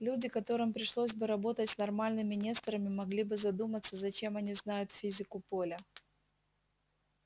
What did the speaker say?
люди которым пришлось бы работать с нормальными несторами могли бы задуматься зачем они знают физику поля